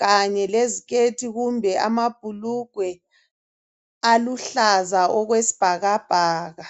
kanye leziketi kumbe amabhulugwe aluhlaza okwesibhakabhaka